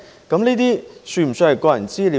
這些是否算是個人資料呢？